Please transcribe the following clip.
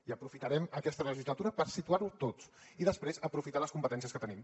i aprofitarem aquesta legislatura per situar ho tots i després aprofitar les competències que tenim